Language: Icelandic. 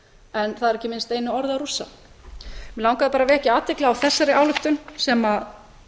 en það er ekki minnst einu orði á rússa mig langaði bara að vekja athygli á þessari ályktun sem